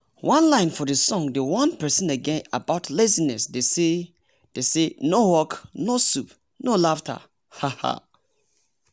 one line for the song dey warn persin about lazinesse dey say dey say “no work no soup no laughter.” um